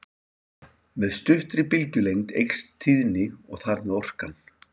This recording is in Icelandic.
Með styttri bylgjulengd eykst tíðnin og þar með orkan.